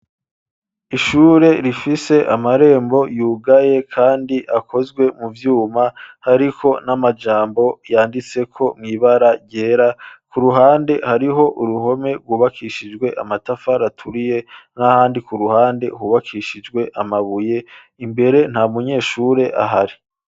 Ishure, rifise amarembo yugaye, kandi, akozwe mu vyuma, hariko n'amajambo, yanditseko mw'ibara ryera; ku ruhande, hariho uruhome, rwubakishijwe amatafari aturiye, n'ahandi, ku ruhande, hubakishijwe amabuye; imbere, nta munyeshure ahari.